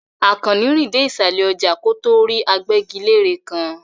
Àkànní rìn dé ìsàlẹ̀ ọjà kó tó rí agbẹ́gilére kan.